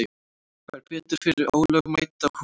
Fær bætur fyrir ólögmæta húsleit